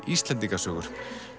Íslendingasögur